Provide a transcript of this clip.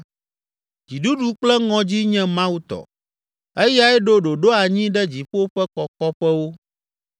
“Dziɖuɖu kple ŋɔdzi nye Mawu tɔ, eyae ɖo ɖoɖo anyi ɖe dziƒo ƒe kɔkɔƒewo.